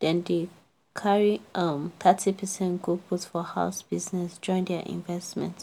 dem dem carry um thirty percent go put for house biz join their investment.